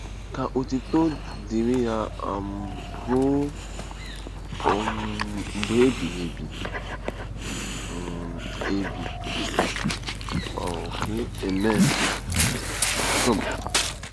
Ka otuto dịrị ya um ruo um mgbe ebighị ebi. um ebi. um Amen. ”— Rom.